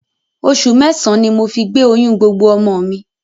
Oṣù mẹ́sàn-án ni mo fi gbé oyún gbogbo ọmọ mi